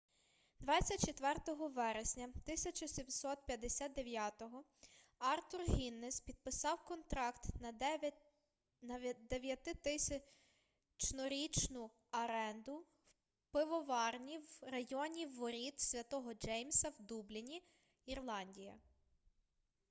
24 вересня 1759 артур гіннесс підписав контракт на 9000-річну аренду пивоварні в районі воріт святого джеймса в дубліні ірландія